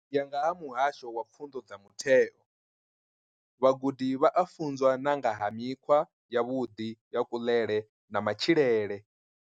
U ya nga vha Muhasho wa Pfunzo dza Mutheo DBE, vhagudi vha a funzwa na nga ha mikhwa yavhuḓi ya kuḽele na matshilele.